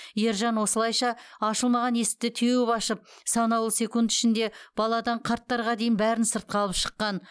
ержан осылайша ашылмаған есікті теуіп ашып санаулы секунд ішінде баладан қарттарға дейін бәрін сыртқа алып шыққан